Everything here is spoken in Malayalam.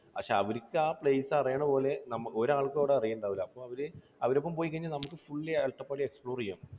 പക്ഷേ അവർക്ക് ആ place അറിയണ പോലെ നമുക്ക് ഒരാൾക്കും അവിടെ അറിയുന്നുണ്ടാവില്ല. അപ്പോൾ അവരെ, അവരുടെ ഒപ്പം പോയി കഴിഞ്ഞാൽ നമുക്ക് fully അട്ടപ്പാടി explore ചെയ്യാം.